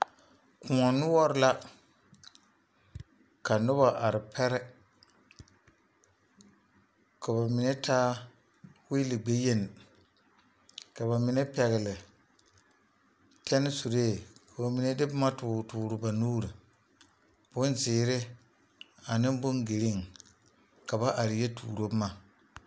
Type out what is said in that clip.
Koɔ noɔre la ka noba are pɛre, ka bamine taa wheele gbɛ yeni ka ba pɛgeli tenne sure ka ba mine ba mine de boma tɔre tɔɔre ba nuuri bonzeɛre ane bon vaare ka ba are yɔ tuuro boma.